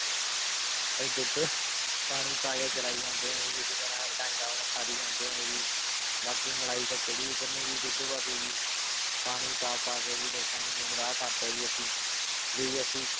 ਦੁੱਧ ਪਾਣੀ ਪਾ ਕੇ ਚਲਾਈ ਜਾਂਦੇ ਹਾਂ ਜੀ ਇਸੇੇ ਤਰ੍ਹਾਂ ਡੰਗ ਆਪਣਾ ਸਾਰੀ ਜਾਂਦੇ ਹਾਂ ਜੀ ਬਾਕੀ ਮਲਾਈ ਤਾਂ ਕਿਹੜੀ ਉਤਰਨੀ ਜੀ ਦੁੱਧ ਵੱਧ ਜੀ ਪਾਣੀ ਪਾ ਕੇ ਪਾ ਕੇ ਜੀ ਲੋਕਾਂ ਨੂੰ ਗੁੰਮਰਾਹ ਕਰਤਾ ਜੀ ਅਸੀਂ ਵੀ ਅਸੀਂ